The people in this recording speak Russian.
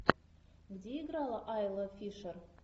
где играла айла фишер